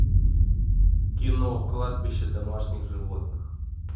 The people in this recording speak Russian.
кино кладбище домашних животных